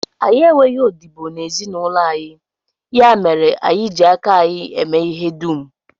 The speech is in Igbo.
Anyị enweghị odibo n'ezinụlọ anyị, ya mere anyị ji aka anyị eme ihe dum